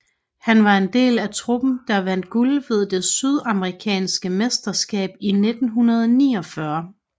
Han var en del af truppen der vandt guld ved det sydamerikanske mesterskab i 1949